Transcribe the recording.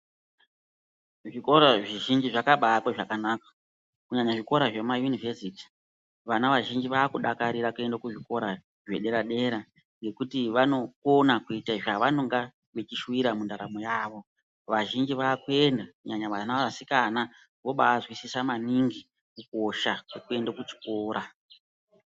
Zvikora zvizhinji zvakabaakwe zvakanaka kunyanya zvikora zvemayunivhesiti vana vazhinji vaakudakarira kuende kuzvikora zvedera dera ngekuti vanokona kuita zvavanonga vechishuwira mundaramo yavo. Vazhinji vaakuenda kunyanya vana vasikana vobaazwisisa maningi kukosha kwekuenda kuchikora.